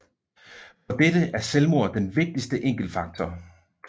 For dette er selvmord den vigtigste enkeltfaktor